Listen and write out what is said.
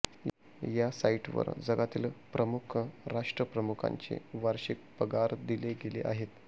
या साईटवर जगातील प्रमुख राष्ट्रप्रमुखांचे वार्षिक पगार दिले गेले आहेत